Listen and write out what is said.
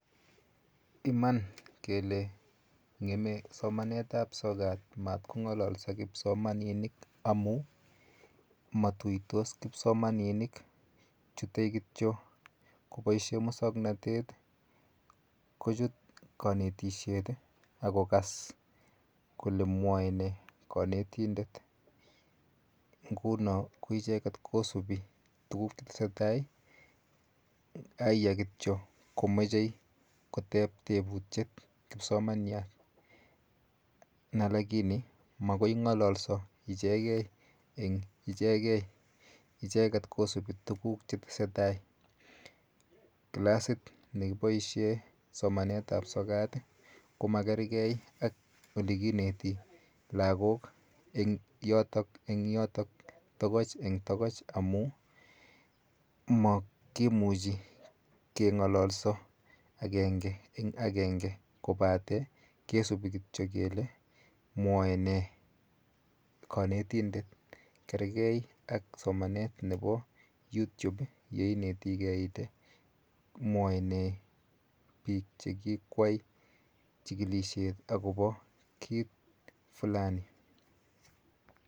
Iman kele ng'eme somanetap sokat mat kong'ololso kipsomaninik amu matuitos kipsomaninik, chute kityo koboishe musoknotet kuchut kanetishet akokas kole mwoe nee kanetindet, nguno ko icheket kosubi tuguk chetesetai, aiya kityo komechei kotep tebutyet kipsomanyat na lakini makoi ng'ololso ichekeieng ichekei, icheket kosubi tuguk chetesetai. Classit nekiboishe somanetap sokat ko makergei ak olekineti lagok eng yotok eng yotok tokoch eng tokoch amu makimuchi keng'ololso akenge eng akenge kobate kesubi kityo kele mwoe nee kanetindet. Kergei ak somanet nepo Youtube yeinetigei ile mwoe nee biik chekikwai chikilishet akopo kit flani.